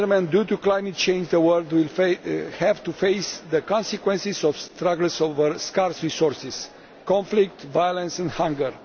Due to climate change the world will have to face the consequences of struggles over scarce resources conflict, violence and hunger.